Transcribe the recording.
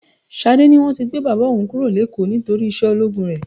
Ṣadé ní wọ́n ti gbé bàbá òun kúrò l'ékòó nítorí iṣẹ́ ológun rẹ.